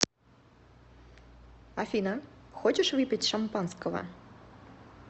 афина хочешь выпить шампанского